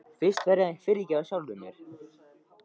Fyrst verð ég að fyrirgefa sjálfum mér.